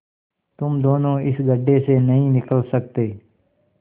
तुम दोनों इस गढ्ढे से नहीं निकल सकते